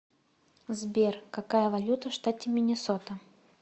сбер какая валюта в штате миннесота